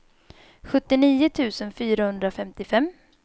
sjuttionio tusen fyrahundrafemtiofem